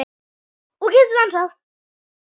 Og getur dansað.